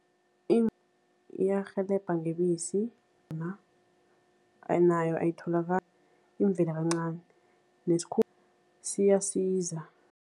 Iyarhelebha ngebisi nayo imvela kancani siyasiza.